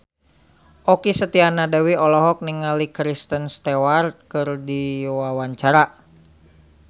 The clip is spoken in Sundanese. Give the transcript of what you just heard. Okky Setiana Dewi olohok ningali Kristen Stewart keur diwawancara